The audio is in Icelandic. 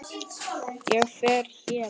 Ég fer héðan.